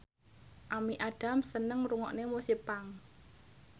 Amy Adams seneng ngrungokne musik punk